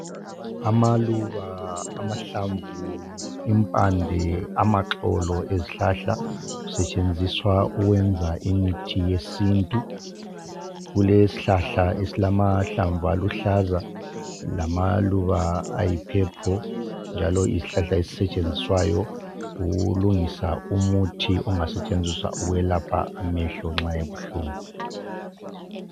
Amaluba, amahlamvu, impande, amaxolo ezihlahla kusetshenziswa ukwenza imithi yesintu, kulesihlala esilamahlamvu aluhlaza lamaluba ayi purple njalo yisihlahla esisetshenziswayo ukulungisa umuthi ongasetshenziswa ukwelapha amehlo nxa ebuhlungu.